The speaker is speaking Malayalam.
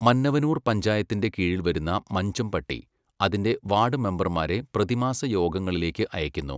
മന്നവനൂർ പഞ്ചായത്തിൻ്റെ കീഴിൽ വരുന്ന മൻജംപട്ടി, അതിൻ്റെ വാർഡ് മെമ്പർമാരെ പ്രതിമാസ യോഗങ്ങളിലേക്ക് അയക്കുന്നു.